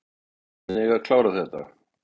Menn eiga að klára þetta.